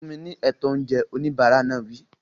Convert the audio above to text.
Fún mi ní ètò oúnjẹ! Oníbàárà náà wí.